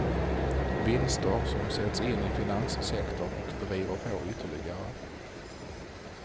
Vinster som sätts in i finanssektorn och driver på ytterligare.